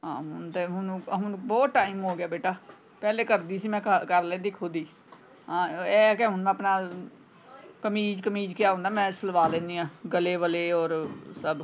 ਹਾਂ ਹੁਣ ਤੇ ਹੁਣ ਬਹੁਤ time ਹੋ ਗਿਆ ਬੇਟਾ ਪਹਿਲੇ ਕਰਦੀ ਸੀ ਮੈਂ ਘਰ ਘਰ ਕਰ ਲੈਂਦੀ ਖੁਦ ਹੀ ਹਾਂ ਇਹ ਹੈ ਕਿ ਹੁਣ ਆਪਣਾ ਕਮੀਜ ਕਮੀਜ ਕਿਆ ਹੁੰਦਾ ਮੈਂ ਸਿਲਵਾ ਲੈਣੀ ਆਂ ਗਲੇ ਵਾਲੇ ਔਰ ਸਬ।